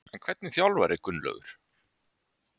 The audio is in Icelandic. En hvernig þjálfari er Gunnlaugur?